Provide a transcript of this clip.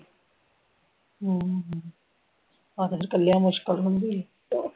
ਹਮ ਆਹੋ ਇਕੱਲਿਆਂ ਮੁਸ਼ਕਿਲ ਹੁੰਦੀ ਆ